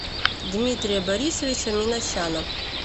дмитрия борисовича минасяна